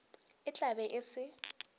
e tla be e se